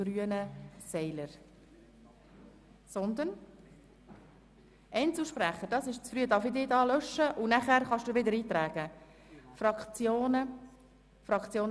Aber ich werde sicher direkt vor der Abstimmung noch einmal erklären, wie wir vorgehen.